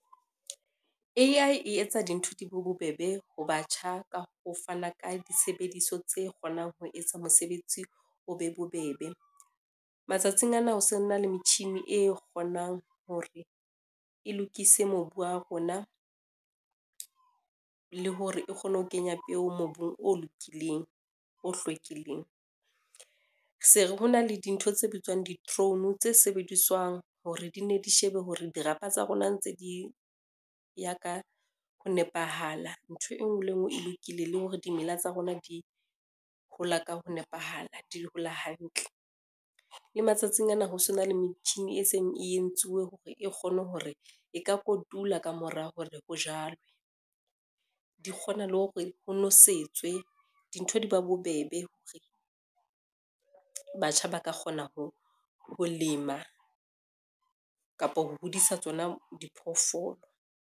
A_I e etsa dintho di be bobebe ho batjha ka ho fana ka disebediso tse kgonang ho etsa mosebetsi o be bobebe. Matsatsing ana ho so na le metjhini e kgonang hore e lokise mobu wa rona, le hore e kgone ho kenya peo mobung o lokileng, o hlwekileng. Se ho na le dintho tse bitswang di-drone tse sebediswang hore di ne di shebe hore dirapa tsa rona ntse di ya ka ho nepahala, ntho e ngwe le e ngwe e lokile le hore dimela tsa rona di hola ka ho nepahala, di hola hantle. Le matsatsing ana ho so na le metjhini e seng e entsuwe hore e kgone hore e ka kotula ka mora hore ho jalwe, di kgona le hore ho nosetswe dintho di ba bobebe hore batjha ba ka kgona ho lema kapa ho hodisa tsona diphoofolo.